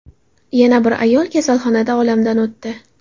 Yana bir ayol kasalxonada olamdan o‘tdi.